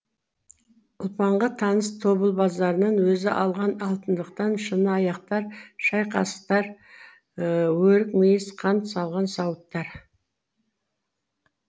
ұлпанға таныс тобыл базарынан өзі алған алтындатқан шыны аяқтар шай қасықтар өрік мейіз қант салған сауыттар